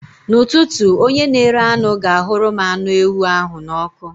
N'ụtụtụ, onye na-ere anụ ga-ahụrụ m anụ ewu ahụ n'ọkụ.